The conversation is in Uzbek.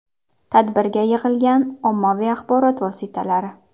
Tadbirga yig‘ilgan ommaviy axborot vositalari.